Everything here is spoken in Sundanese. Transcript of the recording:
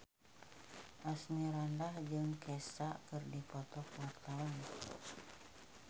Asmirandah jeung Kesha keur dipoto ku wartawan